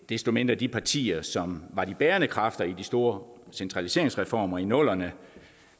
desto mindre de partier som var de bærende kræfter i de store centraliseringsreformer i nullerne